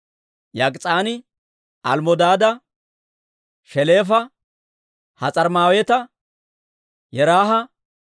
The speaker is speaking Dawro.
Yok'is'aani Almmodaada, Sheleefa, Has'armmaaweta, Yeraaha,